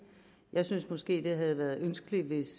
jeg synes måske det havde været ønskeligt